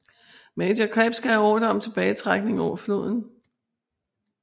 Major Krebs gav ordre om tilbagetrækning over floden